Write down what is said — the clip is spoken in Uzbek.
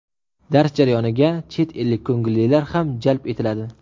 Dars jarayoniga chet ellik ko‘ngillilar ham jalb etiladi.